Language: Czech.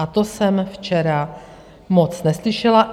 A to jsem včera moc neslyšela.